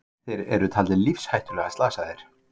Þeir eru taldir lífshættulega slasaðir